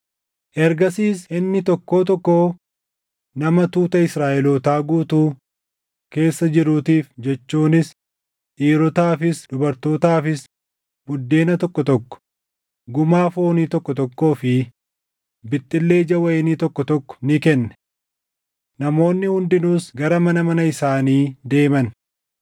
Ergasiis inni tokkoo tokkoo nama tuuta Israaʼelootaa guutuu keessa jiruutiif jechuunis dhiirotaafis dubartootaafis buddeena tokko tokko, gumaa foonii tokko tokkoo fi bixxillee ija wayinii tokko tokko ni kenne. Namoonni hundinuus gara mana mana isaanii deeman.